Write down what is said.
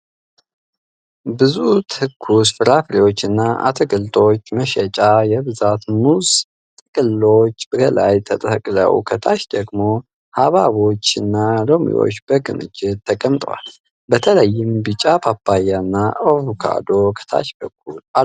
ብዙ ትኩስ ፍራፍሬዎችና አትክልቶች መሸጫ ። የብዛት ሙዝ ጥቅሎች ከላይ ተሰቅለው ፣ ከታች ደግሞ ሐብሐቦችና ሎሚዎች በክምችት ተቀምጠዋል። በተለይም ቢጫ ፓፓያና አቮካዶም ከታች በኩል አሉ።